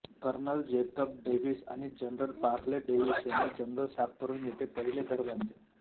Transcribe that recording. colonel Jacob Davis आणि general Parley Davis यांनी जंगल साफ करून येथे पहिले घर बांधले